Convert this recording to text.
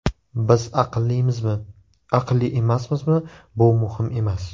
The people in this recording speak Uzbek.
Biz aqllimizmi, aqlli emasmizmi bu muhim emas!